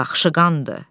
Baxışı qandır.